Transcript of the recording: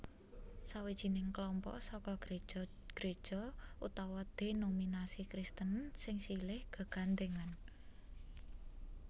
Sawijining klompok saka gréja gréja utawa dhénominasi Kristen sing silih gegandhèngan